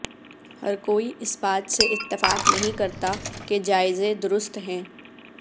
ہر کوئی اس بات سے اتفاق نہیں کرتا کہ جائزے درست ہیں